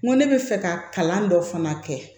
N ko ne bɛ fɛ ka kalan dɔ fana kɛ